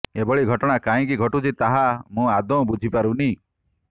ଏଭଳି ଘଟଣା କାହିଁକି ଘଟୁଛି ତାହା ମୁଁ ଆଦୌ ବୁଝିପାରୁନି